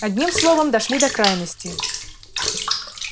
одним словом дошли до крайности